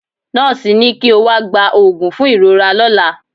Nọ́ọ̀sì ni kí ó wá gba òògùn fún ìrora lọ́la.